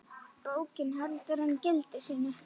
Bókin heldur enn gildi sínu.